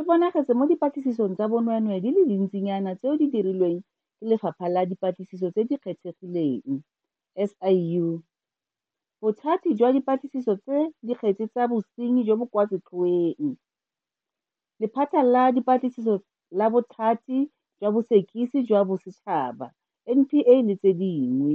e bonagetse mo dipatlisisong tsa bonweenwee di le dintsi nyana tseo di dirilweng ke Lephata la Dipatlisiso tse di Kgethegileng SIU, Bothati jwa Dipatlisiso tsa Dikgetse tsa Bosenyi jo bo kwa Setlhoeng, Lephata la Dipatlisiso la Bothati jwa Bosekisi jwa Bosetšhaba NPA le tse dingwe.